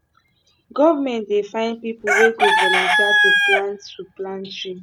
government dey find pipu wey go volunteer to plant to plant tree